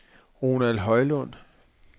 Ronald Højlund